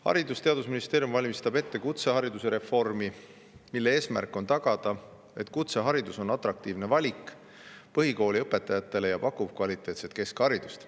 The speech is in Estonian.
Haridus‑ ja Teadusministeerium valmistab ette kutsehariduse reformi, mille eesmärk on tagada, et kutseharidus oleks atraktiivne valik põhikoolilõpetajatele ja pakuks kvaliteetset keskharidust.